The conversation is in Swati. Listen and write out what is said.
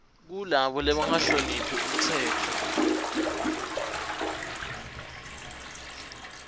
kulabo labangahloniphi umtsetfo